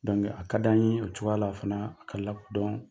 a ka d'an ye o cogoya la fana ka lakodɔn